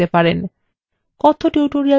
কথ্য tutorial প্রকল্পর the